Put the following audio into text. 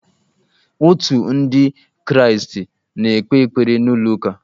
Otu ndị kraastị na-ekpe ekpere n'ụlọ ụka